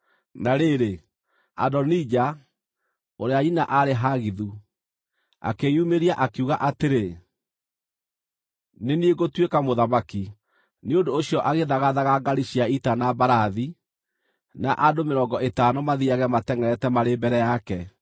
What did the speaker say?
Na rĩrĩ, Adonija, ũrĩa nyina aarĩ Hagithu, akĩĩyumĩria, akiuga atĩrĩ, “Nĩ niĩ ngũtuĩka mũthamaki.” Nĩ ũndũ ũcio agĩthagathaga ngaari cia ita na mbarathi, na andũ mĩrongo ĩtano mathiiage matengʼerete marĩ mbere yake.